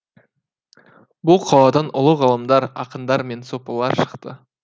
бұл қаладан ұлы ғалымдар ақындар мен сопылар шықты